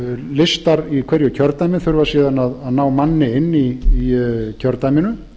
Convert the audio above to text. listar í hverju kjördæmi þurfa síðan að ná manni inn í kjördæminu